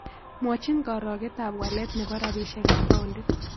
Mwachin karogentap walet ne po rabisyekap paondit